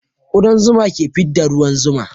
Kudan zuma ka fidda ruwan zuma